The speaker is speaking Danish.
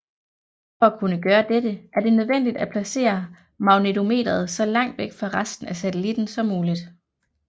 For at kunne gøre dette er det nødvendigt at placere magnetometeret så langt væk fra resten af satellitten som muligt